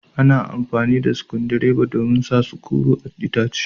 Ana amfani da sukudireba domin sa sukuru a'itace.